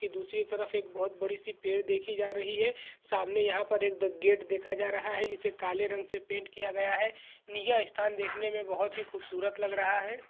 की दूसरी तरफ एक बहुत बड़ी सी पेड़ देखी जा रही है सामने यहां पर एक ग गेट देखा जा रहा है इसे काले रंग से पेंट किया गया है नया स्थान देखने में बहुत ही खूबसूरत लग रहा है।